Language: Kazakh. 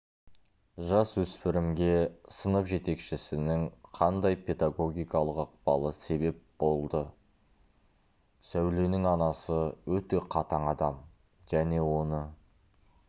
жас өспірімге сынып жетекшісінің қандай педагогикалық ықпалы себеп болды сәуленің анасы өте қатаң адам және оны